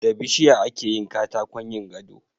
Da bishiya akeyin katakon yin gado